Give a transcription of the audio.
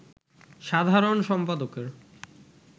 সাধারণ সম্পাদকের